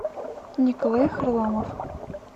николай харламов